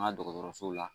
An ka dɔgɔtɔrɔsow la